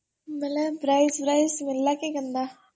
ବେଲେ prize ମିଳିଲା କି କେନ୍ତା?